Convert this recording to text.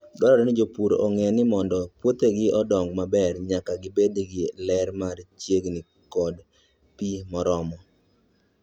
Dwarore ni jopur ong'e ni mondo puothegi odongi maber, nyaka gibed gi ler mar chieng' koda pi moromo.